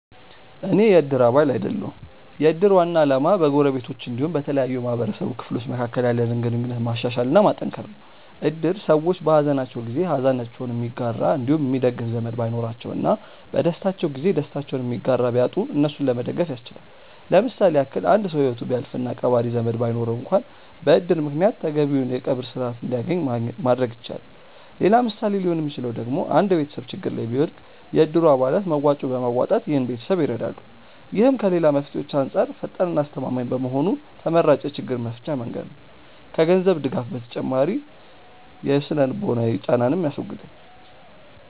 አኔ የ እድር አባል አይደለሁም። የ እድር ዋና አላማ በ ጎረቤቶች አንዲሁም በተለያዩ የ ማህበረሰቡ ክፍሎች መካከል ያለንን ግንኙነት ማሻሻል እና ማጠንከር ነው። እድር ሰዎች በ ሃዘናቸው ጊዜ ሃዘናቸውን የሚጋራ አንዲሁም የሚደግፍ ዘመድ ባይኖራቸው እና በ ደስታቸው ጊዜ ደስታቸውን የሚጋራ ቢያጡ እነሱን ለመደገፍ ያስችላል። ለምሳሌ ያክል አንድ ሰው ሂወቱ ቢያልፍ እና ቀባሪ ዘመድ ባይኖረው አንክዋን በ እድር ምክንያት ተገቢውን የ ቀብር ስርዓት አንድያገኝ ማድረግ ይቻላል። ሌላ ምሳሌ ሊሆን ሚችለው ደግሞ አንድ ቤተሰብ ችግር ላይ ቢወድቅ የ እድሩ አባላት መዋጮ በማዋጣት ይህን ቤተሰብ ይረዳሉ። ይህም ከ ሌላ መፍትሄዎች አንጻር ፈጣን እና አስተማማኝ በመሆኑ ተመራጭ የ ችግር መፍቻ መንገድ ነው። ከ ገንዘብ ድጋፍ ተጨማሪ የ ስነ-ልቦናዊ ጫናንንም ያስወግዳል።